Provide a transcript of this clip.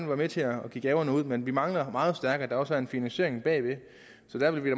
være med til at give gaverne men vi mangler meget stærkt at der også er en finansiering bagved så der vil vi